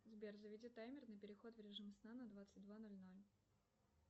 сбер заведи таймер на переход в режим сна на двадцать два ноль ноль